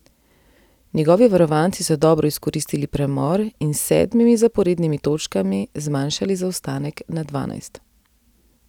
Njegovi varovanci so dobro izkoristili premor in s sedmimi zaporednimi točkami zmanjšali zaostanek na dvanajst.